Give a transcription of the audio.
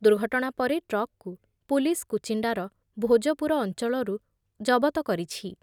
ଦୁର୍ଘଟଣା ପରେ ଟ୍ରକ୍‌କୁ ପୁଲିସ୍ କୁଚିଣ୍ଡାର ଭୋଜପୁର ଅଞ୍ଚଳରୁ ଜବତ କରିଛି ।